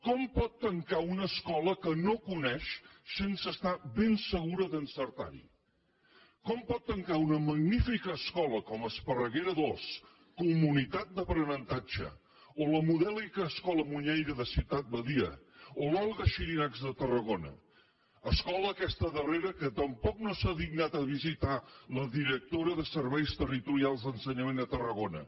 com pot tancar una escola que no coneix sense estar ben segura d’encertar ho com pot tancar una magnífica escola com esparreguera ii comunitat d’aprenentatge o la modèlica escola muñeira de ciutat badia o l’olga xirinacs de tarragona escola aquesta darrera que tampoc no s’ha dignat a visitar la directora de serveis territorials d’ensenyament a tarragona